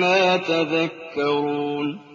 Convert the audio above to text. مَّا تَذَكَّرُونَ